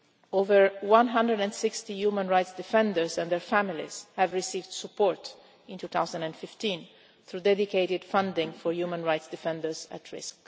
Over 160 human rights defenders and their families have received support in 2015 through dedicated funding for human rights defenders at risk.